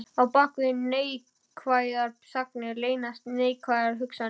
Á bak við neikvæðar þagnir leynast neikvæðar hugsanir.